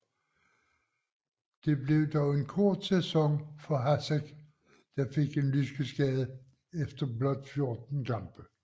Det blev dog en kort sæson for Hašek der fik en lyskeskade efter blot 14 kampe